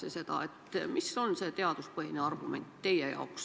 Mis on teie jaoks see teaduspõhine argument?